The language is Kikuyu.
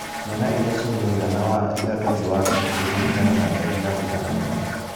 Ciana iria cirĩ mũigana wa ithatũ thĩ wa kĩbũgũ kũringana na ndari ya wũiganania